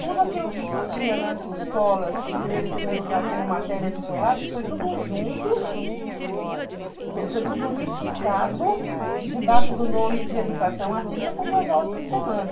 Tudo aquilo que existia nas escolas de primeiro e segundo grau como matérias isoladas foi tudo junto, foi tudo unificado debaixo do nome de educação artística com duas aulas por semana.